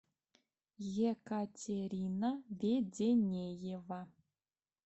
екатерина веденеева